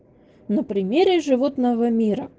на примере животного мира